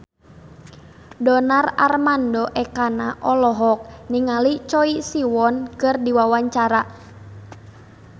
Donar Armando Ekana olohok ningali Choi Siwon keur diwawancara